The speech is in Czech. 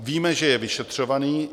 "Víme, že je vyšetřovaný.